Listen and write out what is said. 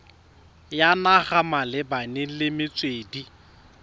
ya naga malebana le metswedi